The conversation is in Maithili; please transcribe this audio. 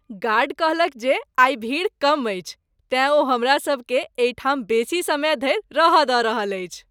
गार्ड कहलक जे आइ भीड़ कम अछि। तेँ ओ हमरा सभकेँ एहि ठाम बेसी समय धरि रह दऽ रहल अछि ।